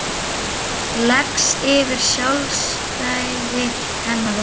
Leggst yfir sjálfstæði hennar og þrótt.